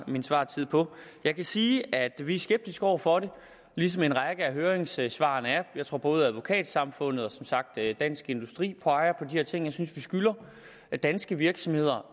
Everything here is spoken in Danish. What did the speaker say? min svartid på jeg kan sige at vi er skeptiske over for det ligesom en række af høringssvarene er jeg tror at både advokatsamfundet og som sagt dansk industri peger på her ting jeg synes vi skylder danske virksomheder